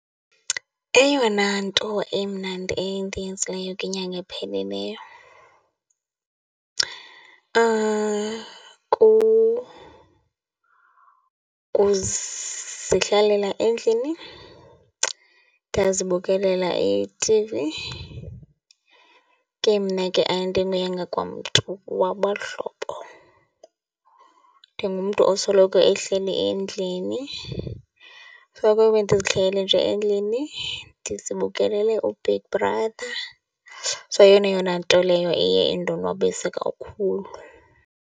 Eyona nto emnandi endiyenzileyo kwinyanga ephelileyo kuzihlalela endlini, ndazibukelela i-T_V. Ke mna ke andinguyanga kwamntu wabahlobo. Ndingumntu osoloko ehleli endlini, soloko ndizihlelele nje endlini, ndizibukelele uBig Brother. So, yeyona yona nto leyo eye indonwabise kakhulu.